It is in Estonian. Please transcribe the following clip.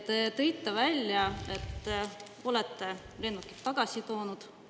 Te tõite välja, et olete lennukid tagasi toonud.